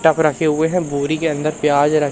tub रखे हुए हैं बोरी के अंदर प्याज र--